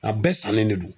A bɛɛ sannen de don